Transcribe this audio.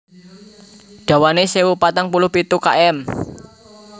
Dawané sewu patang puluh pitu km